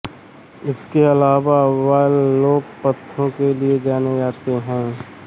इसके अलावा वह लोक तथ्यों के लिए जाने जाते हैं